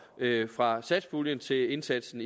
fra satspuljen til indsatsen